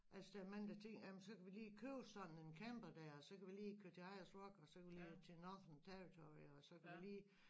Altså der er mange der tænker jamen så kan vi lige købe sådan en camper dér så kan vi lige køre til Ayers rock og så kan vi lige til Northern territory og så kan vi lige